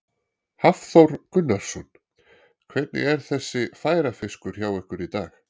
Hafþór Gunnarsson: Hvernig er þessi færafiskur hjá ykkur í dag?